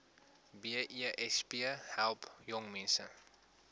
besp help jongmense